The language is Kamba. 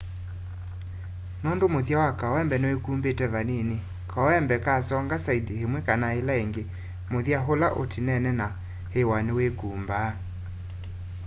nũndũ mũthya wa kawembe nĩwĩkũmbĩte vanĩnĩ kawembe kasonga saĩndĩ ĩmwe kana ĩla ĩngĩ mũthya ũla ũtĩnene na ĩw'a nĩwĩkũmbaa